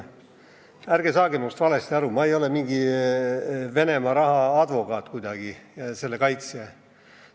Ärge saage must valesti aru, ma ei ole mingi Venemaa raha advokaat ega selle kaitsja.